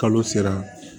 Kalo sera